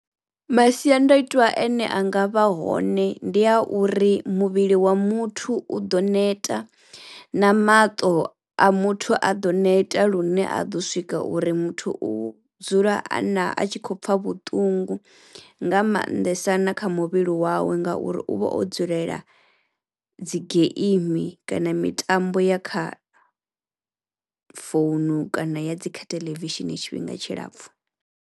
Masiandaitwa a ne a nga vha hone ndi a uri muvhili wa muthu u ḓo neta na maṱo a muthu a ḓo neta lune a ḓo swika uri muthu u dzula a na a tshi khou pfha vhuṱungu nga mannḓesa na kha muvhili wawe ngauri uvha o dzulela dzi geimi kana mitambo ya kha founu kana ya dzi kha theḽevishini tshifhinga tshilapfhu.